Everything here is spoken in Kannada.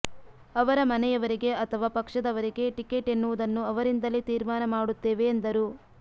ಅವರ ಮನೆಯವರಿಗೆ ಅಥವಾ ಪಕ್ಷದವರಿಗೆ ಟಿಕೇಟ್ ಎನ್ನುವುದನ್ನು ಅವರಿಂದಲೇ ತಿರ್ಮಾನ ಮಾಡುತ್ತೇವೆ ಎಂದರು